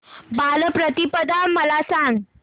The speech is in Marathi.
बलिप्रतिपदा मला सांग